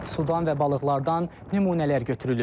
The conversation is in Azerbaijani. Sudan və balıqlardan nümunələr götürülüb.